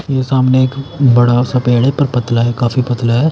ये सामने एक बड़ा सा पेड़ है पर पतला है काफी पतला है।